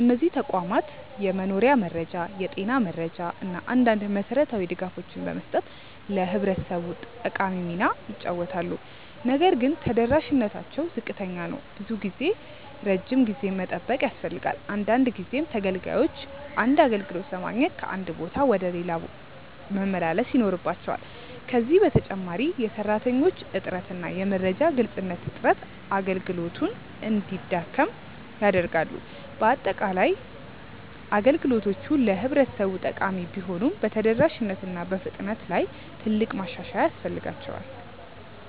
እነዚህ ተቋማት የመኖሪያ መረጃ፣ የጤና መረጃ እና አንዳንድ መሠረታዊ ድጋፎችን በመስጠት ለህብረተሰቡ ጠቃሚ ሚና ይጫወታሉ። ነገር ግን ተደራሽነታቸው ዝቅተኛ ነው። ብዙ ጊዜ ረጅም ጊዜ መጠበቅ ያስፈልጋል፣ አንዳንድ ጊዜም ተገልጋዮች አንድ አገልግሎት ለማግኘት ከአንድ ቦታ ወደ ሌላ መመላለስ ይኖርባቸዋል። ከዚህ በተጨማሪ የሰራተኞች እጥረት እና የመረጃ ግልጽነት እጥረት አገልግሎቱን እንዲያደክም ያደርጋሉ። በአጠቃላይ፣ አገልግሎቶቹ ለህብረተሰቡ ጠቃሚ ቢሆኑም በተደራሽነት እና በፍጥነት ላይ ትልቅ ማሻሻያ ያስፈልጋቸዋል።